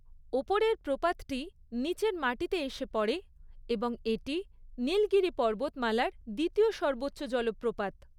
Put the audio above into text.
ওপরের প্রপাতটি নিচের মাটিতে এসে পড়ে এবং এটি নীলগিরি পর্বতমালার দ্বিতীয় সর্বোচ্চ জলপ্রপাত।